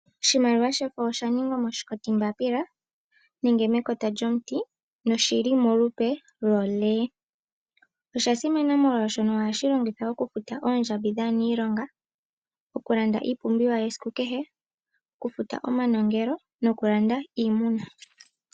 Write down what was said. Oshimaliwa shoka osha ningwa moshikoti mbapila nenge mekota lyomuti, na oshili molupe lolee, osha simana molwashoka ohashi longithwa oku futa oondjambi dha niilonga, oku landa iipumbiwa yesiku kehe, oku futa omanongelo noku landa iimuna.